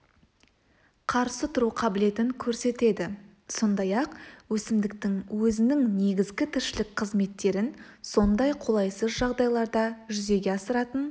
қарсы тұру қабілетін көрсетеді сондай-ақ өсімдіктің өзінің негізгі тіршілік қызметтерін сондай қолайсыз жағдайларда жүзеге асыратын